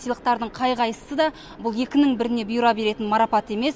сыйлықтардың қай қайысысы да бұл екінін біріне бұйыра беретін марапат емес